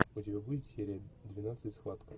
у тебя будет серия двенадцать схватка